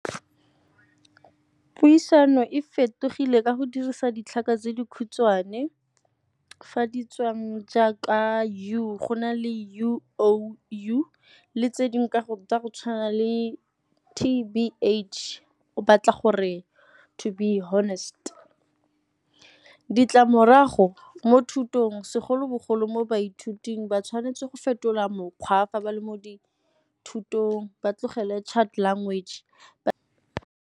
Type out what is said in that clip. Puisano e fetogile ka go dirisa ditlhaka tse dikhutshwane, fa di tswang jaaka U go na le U oh U, le tse dingwe ka go tsa go tshwana le T_B_H o batla gore to be honest. Ditlamorago mo thutong segolobogolo mo baithuting ba tshwanetse go fetola mokgwa fa ba le mo dithutong ba tlogele chat language, ba.